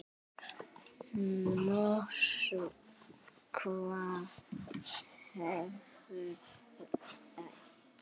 Moskva hefur eitt.